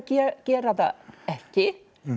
gera það ekki